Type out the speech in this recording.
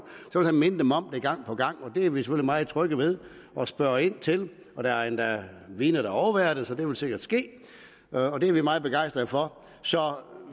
vil han minde dem om det gang på gang det er vi selvfølgelig meget trygge ved og spørger ind til og der er endda vidner der overværer det så det vil sikkert ske og det er vi meget begejstrede for så